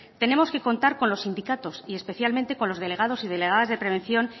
tenemos que contar con los sindicatos y especialmente con lo delegados y delegadas de prevención